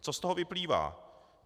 Co z toho vyplývá?